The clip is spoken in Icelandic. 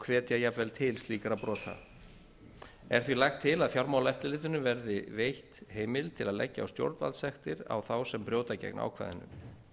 hvetja jafnvel til slíkra brota er því lagt til að fjármálaeftirlitinu verði veitt heimild til að leggja á stjórnvaldssektir á þá sem brjóta gegn ákvæðinu